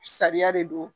Sariya de don